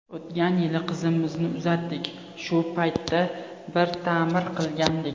O‘tgan yili qizimizni uzatdik, shu paytda bir ta’mir qilgandik.